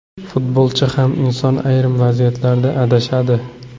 Futbolchi ham inson, ayrim vaziyatlarda adashadi.